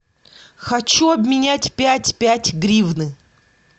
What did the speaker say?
хочу обменять пять пять гривны